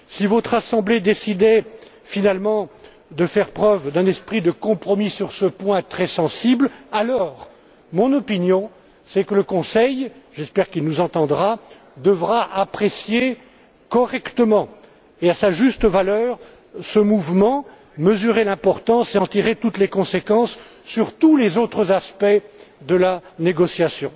Si votre assemblée décidait finalement de faire preuve d'un esprit de compromis sur ce point très sensible, alors mon opinion, c'est que le Conseil j'espère qu'il nous entendra devra apprécier correctement et à sa juste valeur ce mouvement, en mesurer l'importance et en tirer toutes les conséquences sur tous les autres aspects de la négociation.